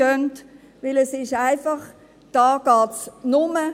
Denn hier geht es nur …